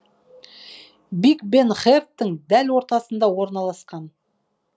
биг бен хердтың дәл ортасында орналасқан